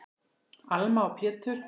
Alma og Pétur.